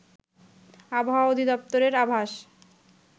আবহাওয়া অধিদপ্তরের আভাস